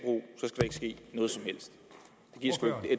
ske noget som helst